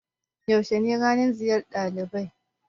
Yaushe ne ranan ziyar ɗalibai?